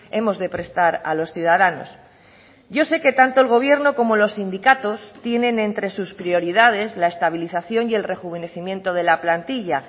hemos de prestar a los ciudadanos yo sé que tanto el gobierno como los sindicatos tienen entre sus prioridades la estabilización y el rejuvenecimiento de la plantilla